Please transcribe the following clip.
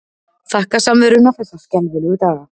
Þakka samveruna þessa skelfilegu daga.